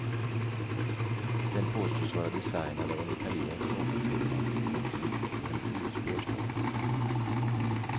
Den påstås vara designad av en italiensk modefirma och gick i en ljusbeige ton.